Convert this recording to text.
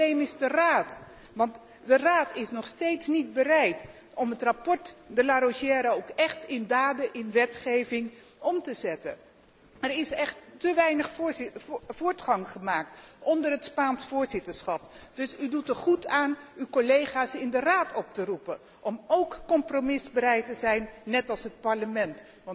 Het probleem is de Raad, want de Raad is nog steeds niet bereid om het rapport De Larosière ook echt in daden, in wetgeving om te zetten. Er is echt te weinig voortgang gemaakt onder het Spaans voorzitterschap, dus u doet er goed aan uw collega's in de Raad op te roepen om óók compromisbereid te zijn, net als het Parlement.